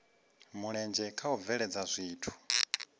mulenzhe kha u bveledza zwithu